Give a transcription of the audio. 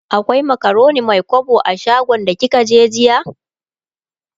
akwai macaroni Mai kwabo a shagon da kika je jiya?